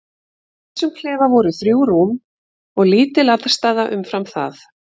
Í þessum klefa voru þrjú rúm og lítil aðstaða umfram það.